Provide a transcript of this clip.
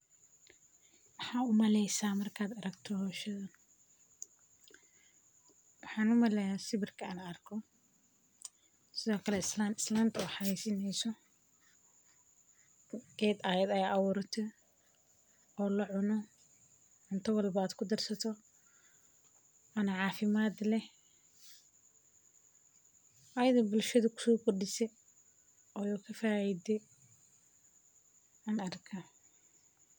Maxaa u maleysa marka aragto hoshadan waxan u maleya sawirka an arko sithokale islan islanta oo geed ayada aburate oo la cuno cunto walbo aad ku darsato ona cafimaad leh ayada oo bulshaada kuso kordise oo ka faide an arka.